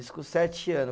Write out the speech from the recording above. Isso com sete ano.